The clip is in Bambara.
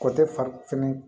O tɛ fari fɛnɛ